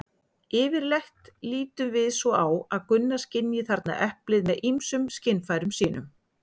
Yfirleitt lítum við svo á að Gunna skynji þarna eplið með ýmsum skynfærum sínum.